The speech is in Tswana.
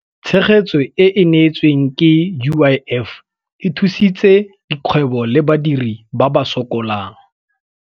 Tshegetso e e neetsweng ke UIF e thusitse dikgwebo le badiri ba ba sokolang.